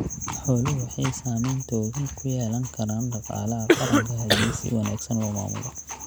Xooluhu waxay saamayn togan ku yeelan karaan dhaqaalaha qaranka haddii si wanaagsan loo maamulo.